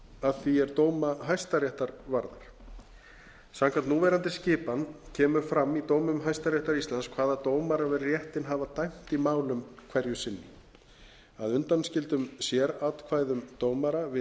að því er dóma hæstaréttar varðar samkvæmt núverandi skipan kemur fram í dómum hæstaréttar íslands hvaða dómarar við réttinn hafa dæmt í málum hverju sinni að undanskildum sératkvæðum dómara